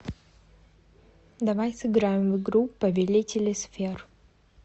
давай сыграем в игру повелители сфер